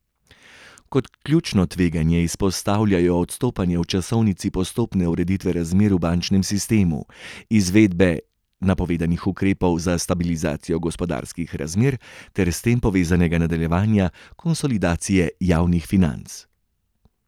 Kot ključno tveganje izpostavljajo odstopanja v časovnici postopne ureditve razmer v bančnem sistemu, izvedbe napovedanih ukrepov za stabilizacijo gospodarskih razmer ter s tem povezanega nadaljevanja konsolidacije javnih financ.